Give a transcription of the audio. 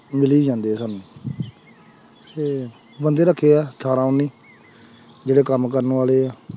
ਮਿਲੀ ਜਾਂਦੇ ਆ ਸਾਨੂੰ ਤੇ ਬੰਦੇ ਰੱਖੇ ਹੈ ਅਠਾਰਾਂ ਉੱਨੀ ਜਿਹੜੇ ਕੰਮ ਕਰਨ ਵਾਲੇ ਹੈ।